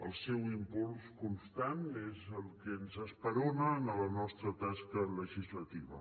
el seu impuls constant és el que ens esperona en la nostra tasca legislativa